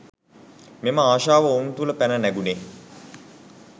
මෙම ආශාව ඔවුන් තුළ පැන නැගුණේ